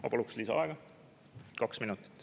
Ma palun lisaaega kaks minutit.